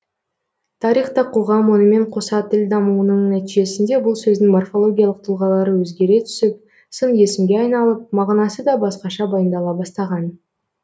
тарихта қоғам онымен қоса тіл дамуының нәтижесінде бұл сөздің морфологиялық тұлғалары өзгере түсіп сын есімге айналып мағынасы да басқаша баяндала бастаған